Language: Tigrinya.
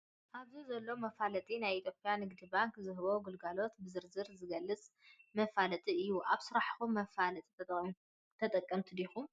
ኣብዚ ዘሎ መፋለጢ ናይ ኢትዮጰያ ንግዲ ባንኪ ዝህቦም ግልጋሎት ብዝረዝር ዝገልፅ መፋለጢ እዩ ። ኣብ ስራሕኩም መፋለጢ ተጠቀምቲ ዲኩም ?